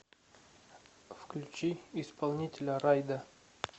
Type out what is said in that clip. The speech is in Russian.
включи исполнителя райда